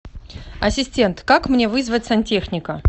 ассистент как мне вызвать сантехника